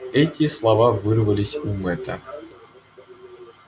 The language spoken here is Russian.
эти слова вырвались у мэтта